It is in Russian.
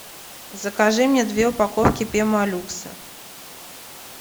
закажи мне две упаковки пемолюкса